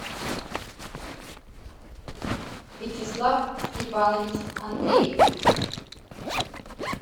вячеслав степанович андреев